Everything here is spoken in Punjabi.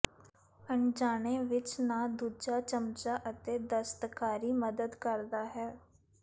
ਅਣਜਾਣੇ ਵਿਚ ਨਾ ਦੂਜਾ ਚਮਚਾ ਅਤੇ ਦਸਤਕਾਰੀ ਮਦਦ ਕਰਦਾ ਹੈ